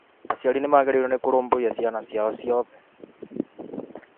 aciari ni magĩrĩĩrwo nĩ kũrũmbũiya ciana ciao ciothe.